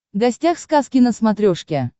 гостях сказки на смотрешке